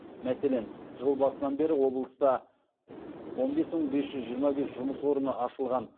мәселен жыл басынан бері облыста он бес мың без жүз жиырма бес жұмыс орны ашылған